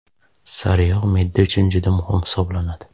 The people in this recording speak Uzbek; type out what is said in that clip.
Sariyog‘ me’da uchun juda muhim hisoblanadi.